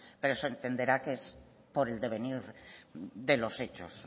pero se entenderá que es por el devenir de los hechos